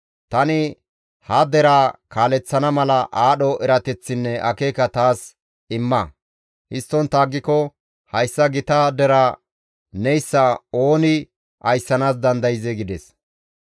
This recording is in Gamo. Tani ha deraa kaaleththana mala aadho erateththinne akeeka taas imma; histtontta aggiko hayssa gita deraa neyssa ooni ayssanaas dandayzee?» gides.